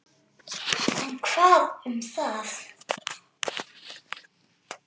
En hvað um það!